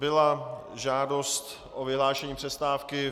Byla žádost o vyhlášení přestávky.